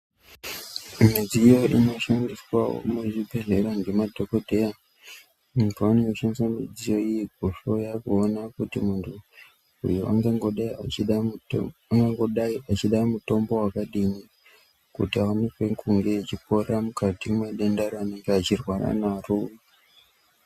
Midziyo inoshandiswawo muzvibhodhlera ngemadhokodheya antu anenge eshandise midziyo iyi kuhloya kuona kuti munhu uyu ungangodai echida mutombo wakadini kuti amupe ngumbi yechipora mukati mwedenda raanenge echirwara naro .